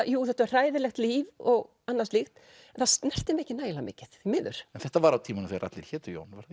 jú þetta var hræðilegt líf og annað slíkt en það snerti mig ekki nægilega mikið því miður þetta var á tímum þegar allir hétu Jón var